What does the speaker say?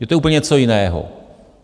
Je to úplně něco jiného.